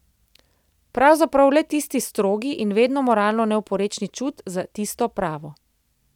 Pravzaprav le tisti strogi in vedno moralno neoporečni čut za tisto pravo.